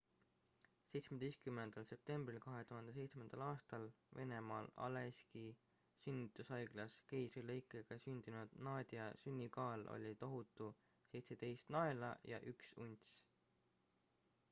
17 septembril 2007 aastal venemaal aleiski sünnitushaiglas keisrilõikega sündinud nadia sünnikaal oli tohutu 17 naela ja 1 unts